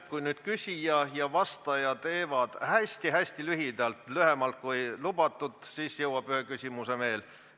Kui nüüd küsija ja vastaja teevad hästi-hästi lühidalt – lühemalt, kui lubatud –, siis jõuab ühe küsimuse veel võtta.